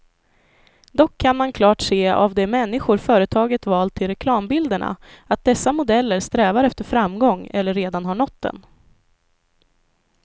Dock kan man klart se av de människor företaget valt till reklambilderna, att dessa modeller strävar efter framgång eller redan har nått den.